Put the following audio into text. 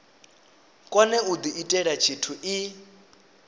kone u diitela tshithu i